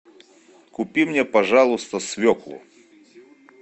купи мне пожалуйста свеклу